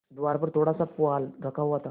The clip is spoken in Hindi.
द्वार पर थोड़ासा पुआल रखा हुआ था